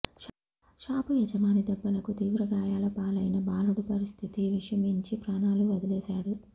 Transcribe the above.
shop యజమాని దెబ్బలకు తీవ్రగాయాలపాలైన బాలుడు పరిస్థితి విషమించి ప్రాణాలు వదిలేశాడు